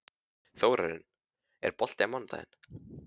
Þórarinn, er bolti á mánudaginn?